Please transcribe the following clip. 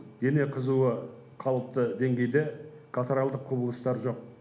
дене қызуы қалыпты деңгейде катаралдық құбылыстар жоқ